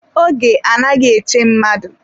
Oge anaghị eche mmadụ.